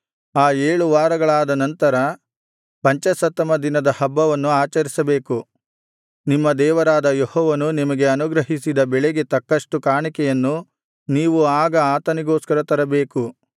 ಆ ಏಳು ವಾರಗಳಾದ ನಂತರ ಪಂಚಾಶತ್ತಮ ದಿನದ ಹಬ್ಬವನ್ನು ಆಚರಿಸಬೇಕು ನಿಮ್ಮ ದೇವರಾದ ಯೆಹೋವನು ನಿಮಗೆ ಅನುಗ್ರಹಿಸಿದ ಬೆಳೆಗೆ ತಕ್ಕಷ್ಟು ಕಾಣಿಕೆಯನ್ನು ನೀವು ಆಗ ಆತನಿಗೋಸ್ಕರ ತರಬೇಕು